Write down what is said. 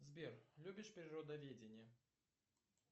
сбер любишь природоведение